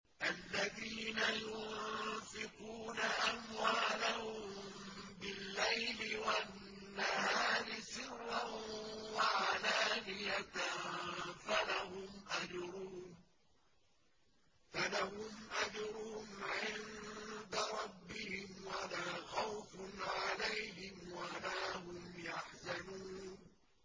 الَّذِينَ يُنفِقُونَ أَمْوَالَهُم بِاللَّيْلِ وَالنَّهَارِ سِرًّا وَعَلَانِيَةً فَلَهُمْ أَجْرُهُمْ عِندَ رَبِّهِمْ وَلَا خَوْفٌ عَلَيْهِمْ وَلَا هُمْ يَحْزَنُونَ